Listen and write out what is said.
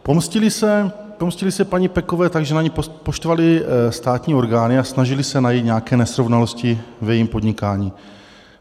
Pomstili se paní Pekové tak, že na ni poštvali státní orgány a snažili se najít nějaké nesrovnalosti v jejím podnikání.